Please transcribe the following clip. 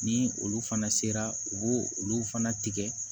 Ni olu fana sera u b'o olu fana tigɛ